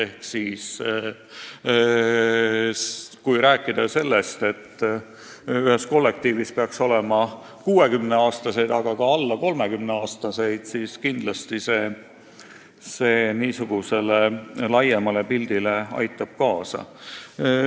Ehk siis, kui ühes kollektiivis on 60-aastaseid ja ka alla 30-aastaseid, siis see kindlasti aitab laiema pildi tekkele kaasa.